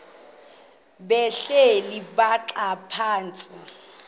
behleli bhaxa phantsi